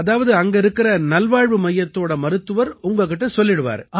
அதாவது அங்க இருக்கற நல்வாழ்வு மையத்தோட மருத்துவர் உங்ககிட்ட சொல்லிடுவாரு